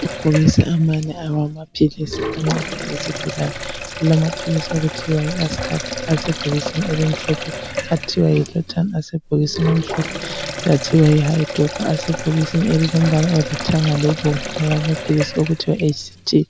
Ngamabhokisi amane awamaphilisi ancedayo izigulane, kulamaphilisi okuthiwa yi Ascard asebhokisini elimhlophe, athiwa yi LORTAN-H asebhokisini elimhlophe, lathiwa yi Hydopa asebhokisini elilombala olithanga lobomvu, lamaphilisi athiwa yi HTC.